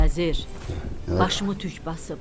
Vəzir, başımı tük basıb.